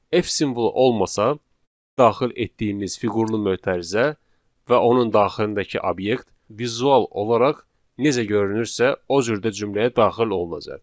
F simvolu olmasa daxil etdiyimiz fiqurlu mötərizə və onun daxilindəki obyekt vizual olaraq necə görünürsə, o cür də cümləyə daxil olunacaq.